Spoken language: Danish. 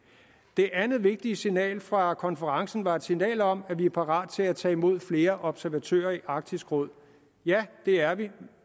det andet vigtige signal fra konferencen var et signal om at vi er parate til at tage imod flere observatører i arktisk råd ja det er vi